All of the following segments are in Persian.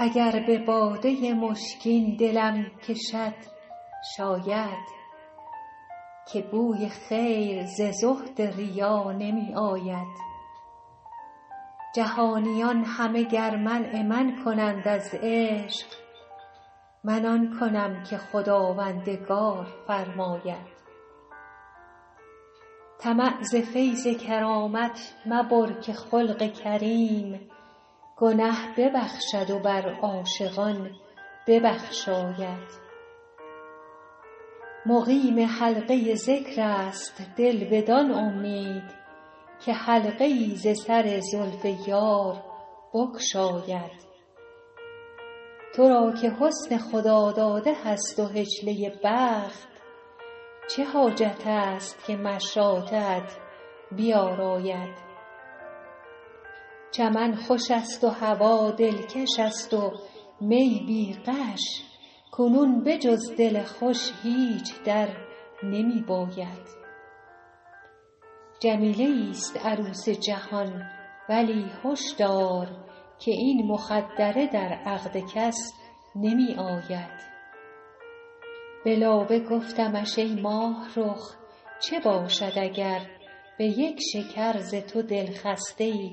اگر به باده مشکین دلم کشد شاید که بوی خیر ز زهد ریا نمی آید جهانیان همه گر منع من کنند از عشق من آن کنم که خداوندگار فرماید طمع ز فیض کرامت مبر که خلق کریم گنه ببخشد و بر عاشقان ببخشاید مقیم حلقه ذکر است دل بدان امید که حلقه ای ز سر زلف یار بگشاید تو را که حسن خداداده هست و حجله بخت چه حاجت است که مشاطه ات بیاراید چمن خوش است و هوا دلکش است و می بی غش کنون به جز دل خوش هیچ در نمی باید جمیله ایست عروس جهان ولی هش دار که این مخدره در عقد کس نمی آید به لابه گفتمش ای ماهرخ چه باشد اگر به یک شکر ز تو دلخسته ای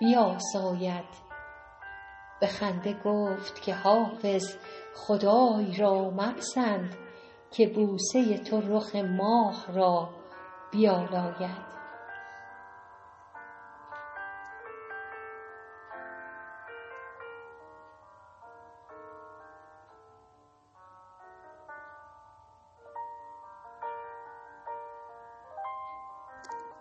بیاساید به خنده گفت که حافظ خدای را مپسند که بوسه تو رخ ماه را بیالاید